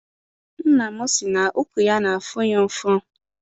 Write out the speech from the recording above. Nna m si na ụkwụ ya n'afụ ya ụfụ.